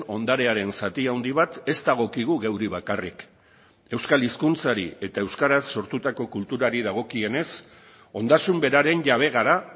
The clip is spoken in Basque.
ondarearen zati handi bat ez dagokigu geuri bakarrik euskal hizkuntzari eta euskaraz sortutako kulturari dagokienez ondasun beraren jabe gara